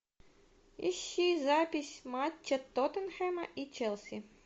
ищи запись матча тоттенхэма и челси